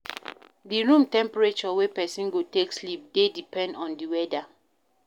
Di room temperature wey person go take sleep dey depend on di weather